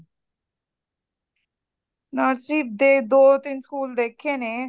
nursery ਦੇ ਦੋ ਤਿੰਨ ਸਕੂਲ ਦੇਖੇ ਨੇ